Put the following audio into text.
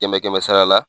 Kɛmɛ kɛmɛ sara la